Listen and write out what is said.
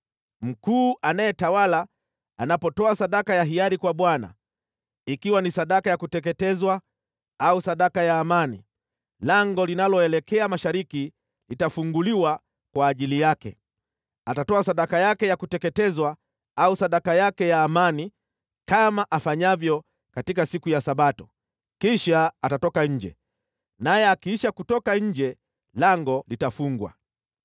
Mkuu anayetawala anapotoa sadaka ya hiari kwa Bwana , ikiwa ni sadaka ya kuteketezwa au sadaka ya amani, lango linaloelekea mashariki litafunguliwa kwa ajili yake. Atatoa sadaka yake ya kuteketezwa au sadaka yake ya amani kama afanyavyo katika siku ya Sabato. Kisha atatoka nje, naye akiisha kutoka nje, lango litafungwa.